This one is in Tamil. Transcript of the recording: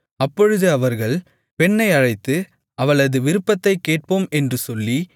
அப்பொழுது அவர்கள் பெண்ணை அழைத்து அவளது விருப்பத்தைக் கேட்போம் என்று சொல்லி